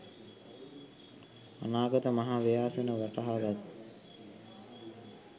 අනාගත මහා ව්‍යසනය වටහාගත්